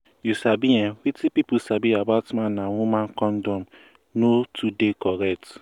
you sabi ehnwetin pipu sabi about man and woman condom no too dey correct